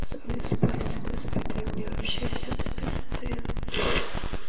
соль и спайсы да спиды мне вообще все до пизды